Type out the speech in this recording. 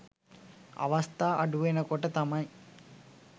අවස්ථා අඩු වෙනකොට තමයි